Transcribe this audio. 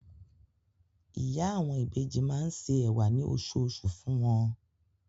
Ìyá àwọn ìbejì máa se ẹ̀wà ní oṣooṣù fún wọn.